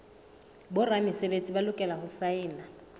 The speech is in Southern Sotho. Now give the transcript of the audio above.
boramesebetsi ba lokela ho saena